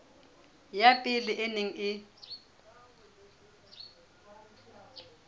ya pele e neng e